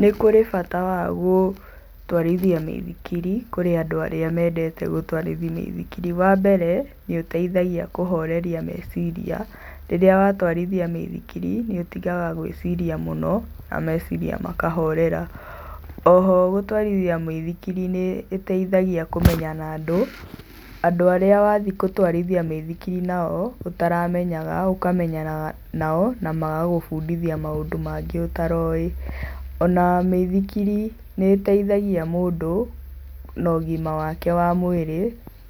Nĩ kũrĩ bata wa gũtwarithia mĩithikiri kũrĩ andũ arĩa mendete gũtwarithia mĩithikiri. Wa mbere nĩ ũteithagia kũhoreria meciria. Rĩrĩa watwarithia mĩithikiri nĩ ũtigaga gwĩciria mũno na meciria maka horera. Oho gũtwarithia mũithikiri nĩ ĩteithagia kũmenyana na andũ, andũ arĩa wathiĩ gũtwarithia mĩithikiri nao, ũtaramenyaga, ũkamenyana nao na magagũbundithia maũndũ mangĩ ũtaroĩ. Na mĩithikiri nĩ ĩteithagia mũndũ na ũgima wake wa mwĩrĩ,